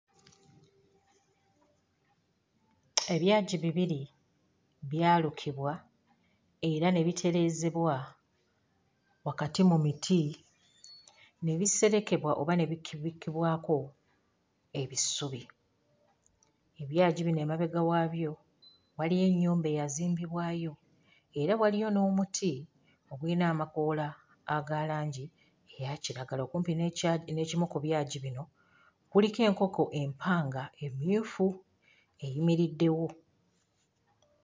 Ebyagi bibiri byalukibwa era ne bitereezebwa wakati mu miti ne biserekebwa oba ne bikibikibwako ebisubi, ebyagi bino emabega waabyo waliyo ennyumba eyazimbibwayo era waliyo n'omuti oguyina amakoola oguyina amakoola aga langi eya kiragala, okumpi n'ekya n'ekimu ku byagi bino kuliko enkoko empanga emmyufu eyimiriddewo.